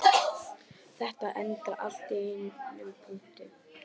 Þetta endar allt í einum punkti